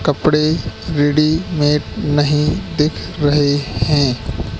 कपड़े रेडीमेड नहीं दिख रहें हैं।